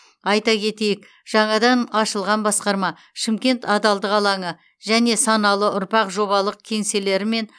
айта кетейік жаңадан ашылған басқарма шымкент адалдық алаңы және саналы ұрпақ жобалық кеңселерімен